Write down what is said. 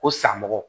Ko sanmɔgɔ